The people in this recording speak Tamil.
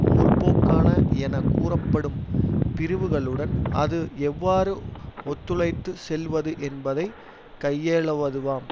முற்போக்கான என கூறப்படும் பிரிவுகளுடன் அது எவ்வாறு ஒத்துழைத்து செல்வது என்பதை கையேலவுதுவாம்